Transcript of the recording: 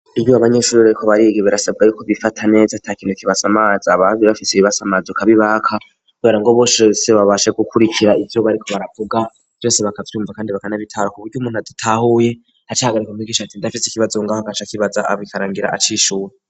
Iryu abanyishurirako barigibirasabwe ayuko bifata neza ata kintu kibasa amaza abavi bafise ibibaso amazuka bibaka wera ngo boshose babashe gukurikira ivyo bariko baravuga vyose bakavyiyumva, kandi bakanabitaro ku buryo umuntu adutahuye hacagarika nkoigishati ndafise ikibazungaho akaca kibaza abikarangira acishura.